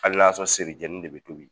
Hali n'a y'a seri jɛni de bɛ tobi.